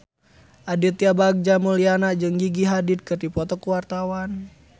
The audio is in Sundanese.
Aditya Bagja Mulyana jeung Gigi Hadid keur dipoto ku wartawan